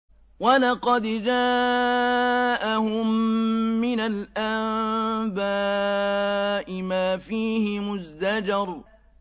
وَلَقَدْ جَاءَهُم مِّنَ الْأَنبَاءِ مَا فِيهِ مُزْدَجَرٌ